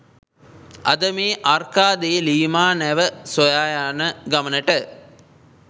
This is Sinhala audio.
අද මේ අර්කා දේ ලීමා නැව සොයා යන ගමනට